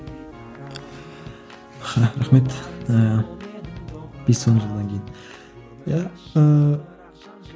рахмет ыыы бес он жылдан кейін иә